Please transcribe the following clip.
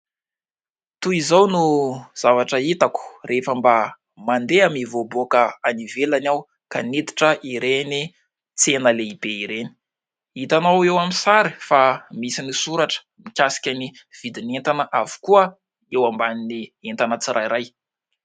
Toy izao no zavatra hitako rehefa mba mandeha mivoaboaka any ivelany aho ka miditra ireny tsena lehibe ireny. Hitanao eo amin'ny sary fa misy ny soratra mikasika ny vidin'entana avokoa eo ambanin'ny entana tsirairay.